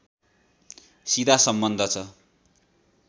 सिधा सम्बन्ध छ